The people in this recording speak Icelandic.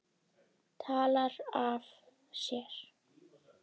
Talar af sér.